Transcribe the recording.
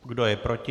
Kdo je proti?